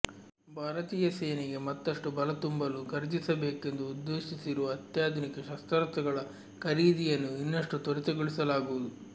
ಭಾರತೀಯ ಸೇನೆಗೆ ಮತ್ತಷ್ಟು ಬಲತುಂಬಲು ಖರೀದಿಸಬೇಕೆಂದು ಉದ್ದೇಶಿಸಿರುವ ಅತ್ಯಾಧುನಿಕ ಶಸ್ತ್ರಾಸ್ತ್ರಗಳ ಖರೀದಿಯನ್ನು ಇನ್ನಷ್ಟು ತ್ವರಿತಗೊಳಿಸಲಾಗುವುದು